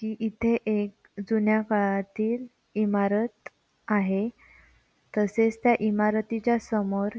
ती इथे एक जुन्या काळातील इमारत आहे तसेच त्या इमारतीच्या समोर --